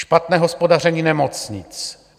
Špatné hospodaření nemocnic.